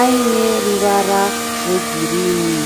aine ruvara rwe girinhi.